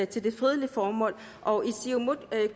til fredelige formål og i siumut